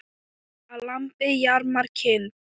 Að lambi jarmar kind.